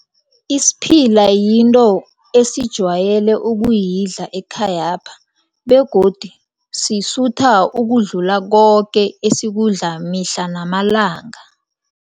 Isiphila yinto esijwayele ukuyidla ekhayapha begodu sisutha ukudlula koke esikudla mihla namalanga.